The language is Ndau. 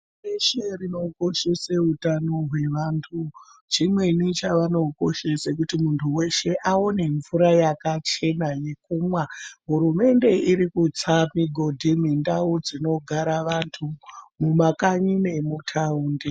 Beshe rinokoshese utano hwevandu ,chimweni chavanokoshese kuti munhu weshe aone mvura yakachena yekumwa, hurumende irikutsa migodhi mundau dzinogara vandu, mumakanyi nemutawundi.